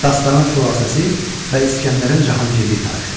Dastanın xülasəsi və İskəndərin Cahangirlik tarixi.